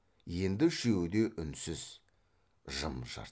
енді үшеуі де үнсіз жым жырт